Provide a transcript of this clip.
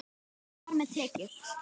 Og þar með tekjur.